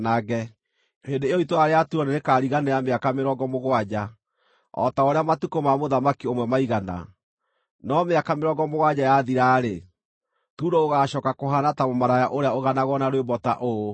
Hĩndĩ ĩyo itũũra rĩa Turo nĩrĩkariganĩra mĩaka mĩrongo mũgwanja, o ta ũrĩa matukũ ma mũthamaki ũmwe maigana. No mĩaka mĩrongo mũgwanja yathira-rĩ, Turo gũgaacooka kũhaana ta mũmaraya ũrĩa ũganagwo na rwĩmbo ta ũũ: